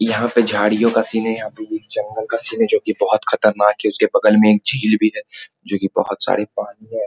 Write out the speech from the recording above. यहाँ पे झाड़ियों का सीन है यहाँ पे जंगल का सीन है जो की बहुत खतरनाक है उसके बगल में एक झील भी है जो की बहुत सारे पानी है ।